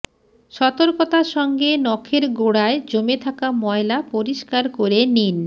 সতর্কতার সঙ্গে নখের গোড়ায় জমে থাকা ময়লা পরিষ্কার করে নিন